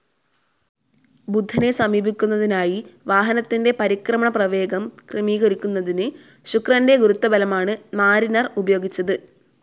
ബുധനെ സമീപിക്കുന്നതിനായി വാഹനത്തിന്റെ പരിക്രമണ പ്രവേഗം ക്രമീകരിക്കുന്നതിന്‌ ശുക്രന്റെ ഗുരുത്വബലമാണ്‌ മാരിനർ ഉപയോഗിച്ചത്.